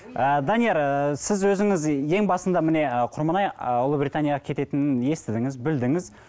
ы данияр ы сіз өзіңіз ең басында міне ы құрманай ы ұлыбританияға кететінін естідіңіз білдіңіз